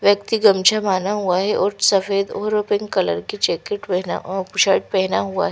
व्यक्ति गमछा बाना हुआ है और सफेद और पिंक कलर की जैकेट पहेना अ शर्ट पहना हुआ--